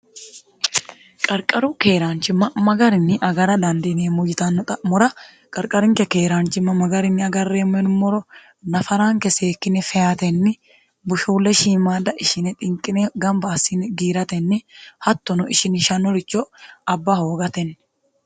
qarqaru keeraanchimma magarinni agara dandiiniemmo yitanno xa'mora qarqarinke keeraanchimma magarinni agarreemmo yiummoro nafaraanke seekkine feyatenni bushuulle shiimaada ishine xinqine gamba assini giiratenni hattono ishini shanoricho abba hoogatenni